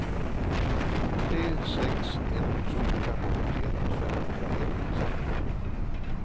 tre sex ett fyra åttioett femhundraett